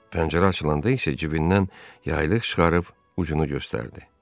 Pəncərə açılanda isə cibindən yaylıq çıxarıb ucunu göstərdi.